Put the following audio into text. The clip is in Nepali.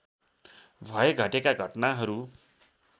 भए घटेका घटनाहरु